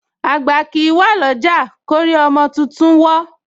Àgbà kìí wà ọlọ́jà lórí ọmọ tuntun wó